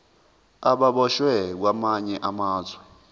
ababoshwe kwamanye amazwe